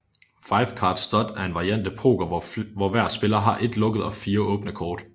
Five card stud er en variant af poker hvor hver spiller har et lukket og fire åbne kort